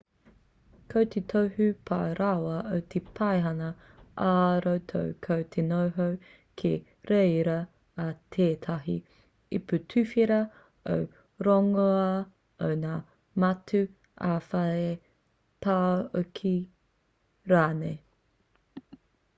ko te tohu pai rawa o te paihana ā-roto ko te noho ki reira a tētahi ipu tuwhera o te rongoā o ngā matū ā-whare tāoke rānei